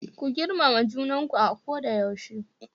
Ku girmama junanku a koda yaushe.